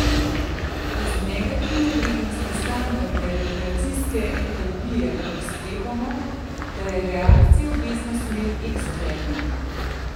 Iz negativne vrednosti standardne reakcijske entalpije lahko sklepamo, da je reakcija v desno smer eksotermna.